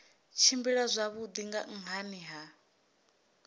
tshimbila zwavhui nga nhani ha